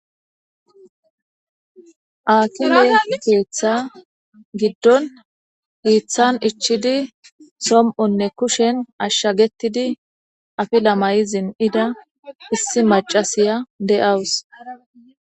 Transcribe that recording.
Haakime keeththa giddon hiiththan ichchidi som'onne kushen ashshagetidi afila mai izin'ida issi macasiya de'awus.